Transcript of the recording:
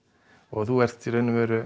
þú ert í raun og veru